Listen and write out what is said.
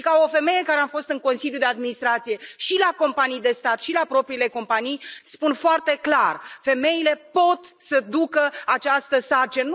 Și ca o femeie care am fost în consiliul de administrație și la companii de stat, și la propriile companii, spun foarte clar femeile pot să ducă această sarcină.